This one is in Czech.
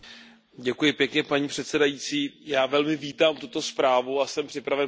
Paní předsedající, já velmi vítám tuto zprávu a jsem připraven pro ni hlasovat.